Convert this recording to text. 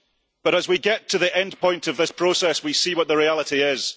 But as we get to the end point of this process, we see what the reality is.